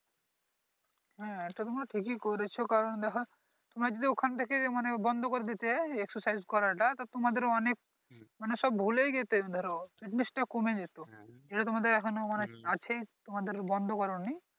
হ্যাঁ এইটা তোমরা ঠিকই করেছো কারন দেখো তোমরা যদি ঐখান থেকে বন্ধ করে দিতে Exercise করাটা তা তোমাদের ও অনেক মানে সব ভুলেই যেতে ধরো বা কমে যেতে ধরো । যেটা তোমাদের এখনো মানে আছেই তোমাদের বন্ধ করোনি